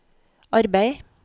arbeid